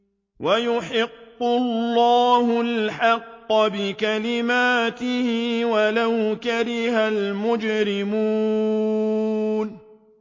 وَيُحِقُّ اللَّهُ الْحَقَّ بِكَلِمَاتِهِ وَلَوْ كَرِهَ الْمُجْرِمُونَ